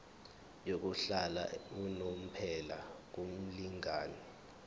yokuhlala unomphela kumlingani